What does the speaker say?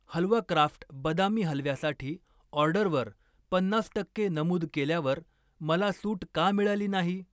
हलवा craft बदामी हलव्यासाठी ऑर्डरवर पन्नास टक्के नमूद केल्यावर मला सूट का मिळाली नाही.